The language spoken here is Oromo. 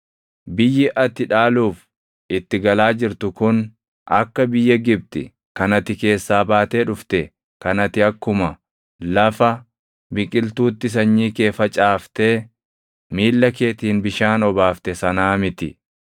Biyyi ati dhaaluuf itti galaa jirtu kun akka biyya Gibxi kan ati keessaa baatee dhufte kan ati akkuma lafa biqiltuutti sanyii kee facaaftee miilla keetiin bishaan obaafte sanaa miti.